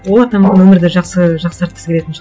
олар да мүмкін өмірді жақсы жақсартқысы келетін